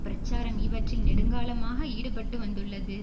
பிரச்சாரம் இவற்றில் நெடுங்காலமாக ஈடுபட்டுவந்துள்ளது